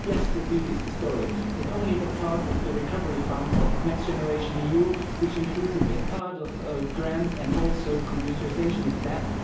Yes, the deal is historic, but only the part of the Recovery Fund Next Generation EU which includes a big part of grants and also communitarisation of debt.